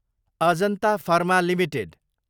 Ajanta pharma Ltd